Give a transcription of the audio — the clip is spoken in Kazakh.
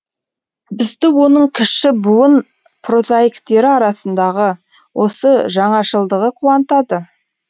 бізді оның кіші буын прозаиктері арасындағы осы жаңашылдығы қуантады